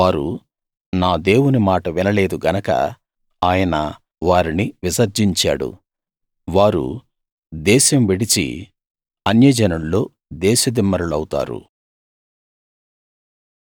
వారు నా దేవుని మాట వినలేదు గనక ఆయన వారిని విసర్జించాడు వారు దేశం విడిచి అన్యజనుల్లో దేశదిమ్మరులౌతారు